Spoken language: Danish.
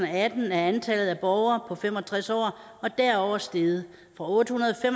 atten er antallet af borgere på fem og tres år og derover steget fra ottehundrede